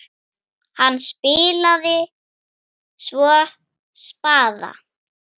Hann spilaði svo spaða.